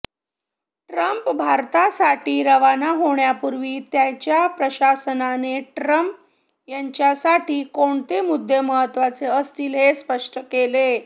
Trump भारतासाठी रवाना होण्यापूर्वी त्यांच्या प्रशासनाने ट्रंप यांच्यासाठी कोणते मुद्दे महत्त्वाचे असतील हे स्पष्ट केलं